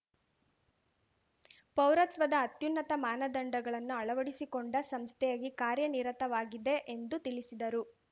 ಪೌರತ್ವದ ಅತ್ಯುನ್ನತ ಮಾನದಂಡಗಳನ್ನು ಅಳವಡಿಸಿಕೊಂಡ ಸಂಸ್ಥೆಯಾಗಿ ಕಾರ್ಯ ನಿರತವಾಗಿದೆ ಎಂದು ತಿಳಿಸಿದರು